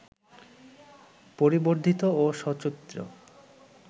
পরিবর্ধিত ও সচিত্র